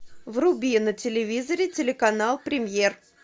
вруби на телевизоре телеканал премьер